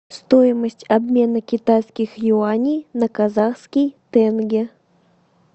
стоимость обмена китайских юаней на казахский тенге